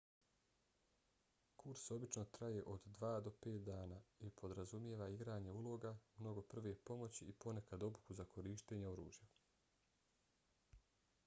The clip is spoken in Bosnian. kurs obično traje od 2 do 5 dana i podrazumijeva igranje uloga mnogo prve pomoći i ponekad obuku za korištenje oružja